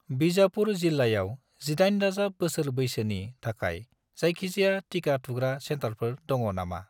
बिजापुर जिल्लायाव 18+ बोसोर बैसोनि थाखाय जायखिजाया टिका थुग्रा सेन्टारफोर दङ नामा?